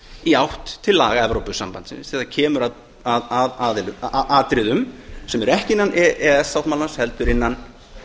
í átt til laga evrópusambandsins þegar kemur að atriðum sem eru ekki innan e e s sáttmálans heldur innan